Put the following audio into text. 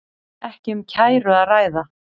Ekki um kæru að ræða